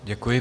Děkuji.